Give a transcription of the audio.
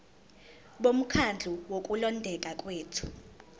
bomkhandlu wokulondeka kwethu